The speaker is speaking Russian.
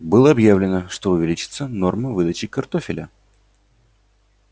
было объявлено что увеличится норма выдачи картофеля